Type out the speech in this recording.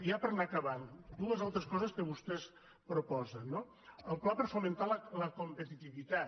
ja per anar acabant dues altres coses que vostès proposen no el pla per fomentar la competitivitat